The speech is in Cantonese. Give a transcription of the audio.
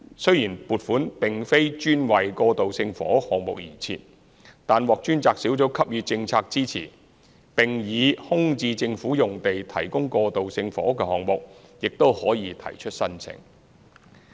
雖然撥款並非專為過渡性房屋項目而設，但獲專責小組給予政策支持，並且，以空置政府用地提供過渡性房屋的項目也可提出申請。